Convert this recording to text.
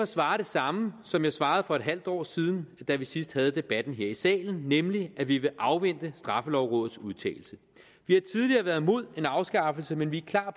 svare det samme som jeg svarede for et halvt år siden da vi sidst havde debatten her i salen nemlig at vi vil afvente straffelovrådets udtalelse vi har tidligere været imod en afskaffelse men vi er klar